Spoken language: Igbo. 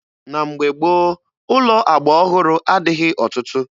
Na mgbe gboo, ụlọ agba ọhụrụ adịghị ọtụtụ.